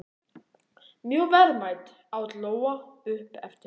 Mjög verðmæt, át Lóa upp eftir honum.